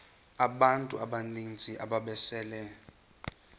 abantu abaninzi ababesele